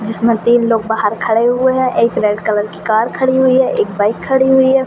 जिसमे तीन लोग बाहर खड़े हुए हैं एक रेड कलर की कार खड़ी हुई हैं एक बाइक खड़ी हुई हैं।